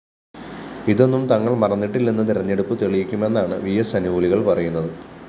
ഇതൊന്നും തങ്ങള്‍ മറന്നിട്ടില്ലെന്ന് തെരഞ്ഞെടുപ്പ് തെളിയിക്കുമെന്നാണ് വിഎസ് അനുകൂലികള്‍ പറയുന്നത്